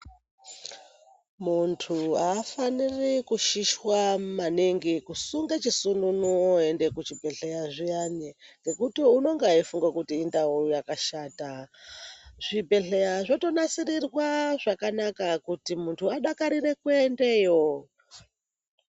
Muntu afaniri kushishwa maningi kusunga chisununu oenda kuchibhedhleya zviyani ngekuti unenge eifunga kuti indau yakashata. Zvibhehleya zvotonasirirwa zvakanaka kuti muntu adakarire kuendeyo.